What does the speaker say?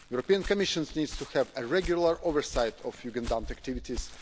The European Commission needs to have a regular oversight of Jugendamt activities.